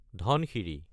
ধনচিৰি